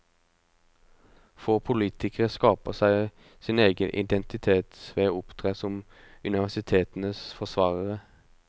Få politikere skaper seg sin egen identitet ved å opptre som universitetenes forsvarere.